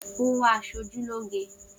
Oń wá aṣojú lóge.